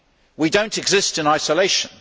We do not exist in isolation.